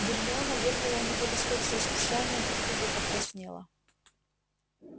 гермиона вырвала у него листок с расписанием и туго покраснела